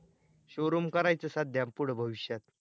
showroom करायचं सध्या पुढ भविष्यात